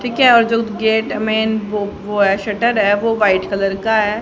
ठीक है और जो उस गेट मेन वो वो ऐ शटर है वो वाइट कलर का है।